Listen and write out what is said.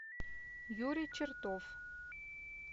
юрий чертов